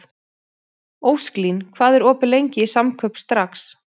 Ósklín, hvað er opið lengi í Samkaup Strax?